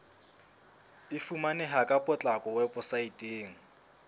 e fumaneha ka potlako weposaeteng